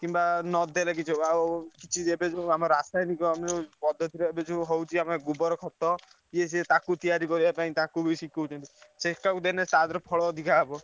କିମ୍ବା ନ ଦେଲେ କିଛି ହବ ଆଉ କିଛି ଆମର ରାସାୟନିକ ପଦ୍ଧତି ରେ ଆମର ଏବେ ଯୋଉ ହଉଛି ଗୋବର କ୍ଷତ ୟେ ସିଏ ତାକୁ ତିଆରି କରିବ ପାଇଁ ତାକୁ ବି ଶିଖଉଛନ୍ତି। ସେତାକୁ ଦେଲେ ତଦହେରେ ଫଳ ଅଧିକା ହବ।